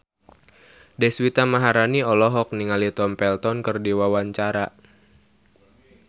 Deswita Maharani olohok ningali Tom Felton keur diwawancara